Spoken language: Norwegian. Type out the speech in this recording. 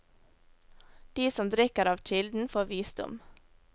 De som drikker av kilden får visdom.